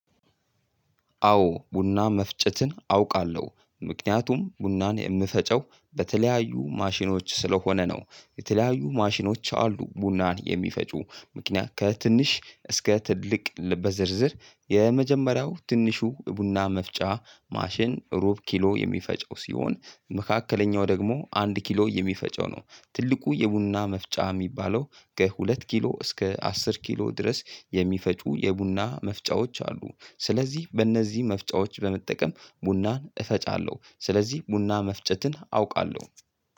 አዎ ቡና መፍጨትን አውቃለሁ ምክንያቱም ቡናን የምፈጨው በተለያዩ ማሽኖች ስለሆነ ነው። የተለያዩ ማሽኖች አሉ ቡናን የሚፈጩ ምክንያት ከትንሽ እስከ ትልቅ በዝርዝር የመጀመሪያው ትንሹ ቡና መፍጫ ማሽን ሩብ ኪሎ የሚፈጨው ሲሆን። መካከለኛው ደግሞ አንድ ኪሎ የሚፈጨው ነው። ትልቁ የቡና መፍጫ የሚባለው ከሁለት ኪሎ እስከ አስር ኪሎ ድረስ የሚፈጩ የቡና መፍጫዎች አሉ። ስለዚህ በእነዚህ መፍጨቶች በመጠቀም ቡናን እፈጫለሁ ስለዚህ ቡና መፍጨትን አውቃለሁ። ደ